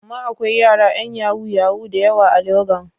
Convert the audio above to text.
Amma akwain yara yan yahu-yahu da yawa a Logan.